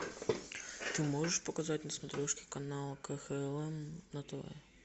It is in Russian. ты можешь показать на смотрешке канал кхлм на тв